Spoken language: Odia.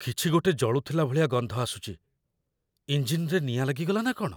କିଛିଗୋଟେ ଜଳୁଥିଲା ଭଳିଆ ଗନ୍ଧ ଆସୁଚି । ଇଞ୍ଜିନ୍‌ରେ ନିଆଁ ଲାଗିଗଲା ନା କ'ଣ?